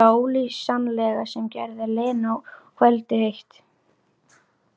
Þetta ólýsanlega sem gerði Lenu og kvöldið eitt.